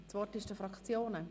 Das Wort haben die Fraktionen.